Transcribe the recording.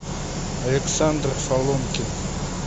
александр соломкин